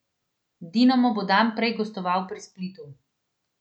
Dinamo bo dan prej gostoval pri Splitu.